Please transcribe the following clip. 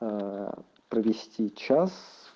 ээ провести час